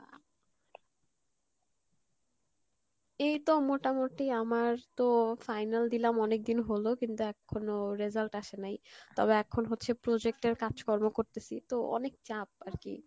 এই তো মোটামোটি আমার তো final দিলাম অনেকদিন হলো, কিন্তু এখনো result আসে নাই, তবে এখন হচ্ছে project এর কাজ কর্ম করতেসি তো অনেক চাপ আর কী,